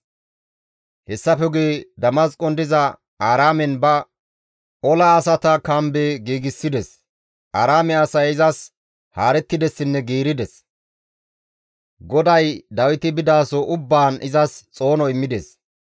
Hessafe guye Damasqon diza Aaraamen ba ola asata kambe giigsides. Aaraame asay izas haarettidessinne giirides; GODAY Dawiti bidaso ubbaan izas xoono immides.